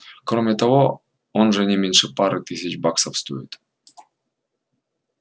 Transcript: кроме того он же не меньше пары тысяч баксов стоит